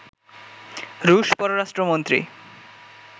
রুশ পররাষ্ট্রমন্ত্রী